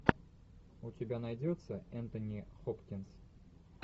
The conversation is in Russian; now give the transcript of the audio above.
у тебя найдется энтони хопкинс